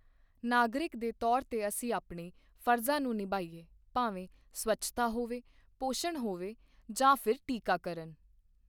ਨਾਗਰਿਕ ਦੇ ਤੌਰ ਤੇ ਅਸੀਂ ਆਪਣੇ ਫ਼ਰਜ਼ਾਂ ਨੂੰ ਨਿਭਾਈਏ, ਭਾਵੇਂ ਸਵੱਛਤਾ ਹੋਵੇ, ਪੋਸ਼ਣ ਹੋਵੇ ਜਾਂ ਫਿਰ ਟੀਕਾਕਰਣ।